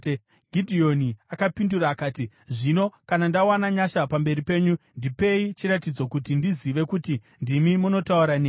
Gidheoni akapindura akati, “Zvino kana ndawana nyasha pamberi penyu, ndipei chiratidzo kuti ndizive kuti ndimi munotaura neni.